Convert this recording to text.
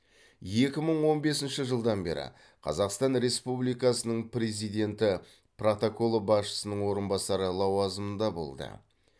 екі мың он бесінші жылдан бері қазақстан республикасының президенті протоколы басшысының орынбасары лауазымында болды